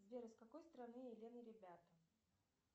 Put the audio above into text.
сбер из какой страны элен и ребята